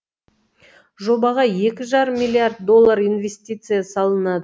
жобаға екі жарым миллиард доллар инвестиция салынады